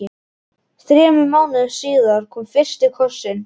Þremur mánuðum síðar kom fyrsti kossinn.